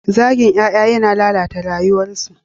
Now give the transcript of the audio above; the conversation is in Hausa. Zagin ƴaƴa yana lalata rayuwarsu.